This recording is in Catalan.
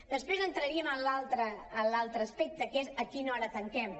després entraríem en l’altre aspecte que és a quina hora tanquem